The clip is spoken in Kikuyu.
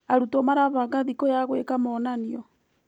Arutwo marabanga thikũ ya gwĩka monanio.